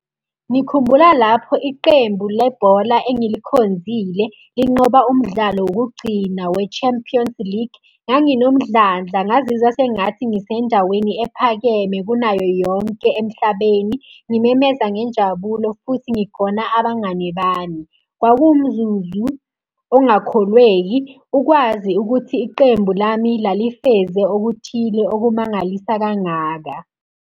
Ngikhumbula lapho iqembu le bhola engilikhonzile linqoba umdlalo wokugcina we-champions league. Nganginomdlandla, ngazizwa sengathi ngisendaweni ephakeme kunayo yonke emhlabeni. Ngimemeza ngenjabulo futhi ngigona abangani bami. Kwakuwumzuzu ongakholweki ukwazi ukuthi iqembu lami lalifeze okuthile okumangalisa kangaka.